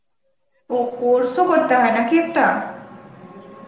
ও course ও করতে হয় নাকি একটা ?